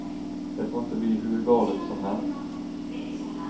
Det får inte bli hur galet som helst.